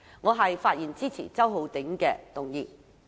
我發言支持周浩鼎議員的議案。